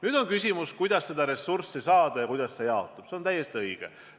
Küsimus on selles, kuidas seda ressurssi saada ja kuidas see jaotub – see on täiesti õige.